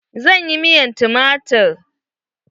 Zan yi miyar tumatir.